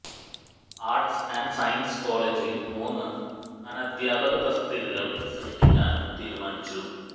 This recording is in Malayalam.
ആർട്സ് ആൻഡ് സയൻസ് കോളജിൽ മൂന്ന് അനദ്ധ്യാപക തസ്തികകൾ സൃഷ്ടിക്കാനും തീരുമാനിച്ചു